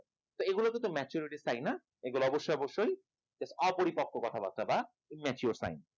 এগুলো তো maturesign না এগুলো অবশ্যই অবশ্যই অপরিপক্ক কথাবাত্রা বা immature sign